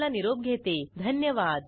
सहभागासाठी धन्यवाद